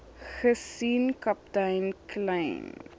gesien kaptein kleyn